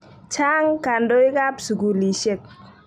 Chang' kandoik ap sukulisyek.